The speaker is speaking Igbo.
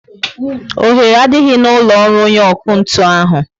Oghere adịghị n'ụlọ ọrụ onye ọkụ ntụ ahụ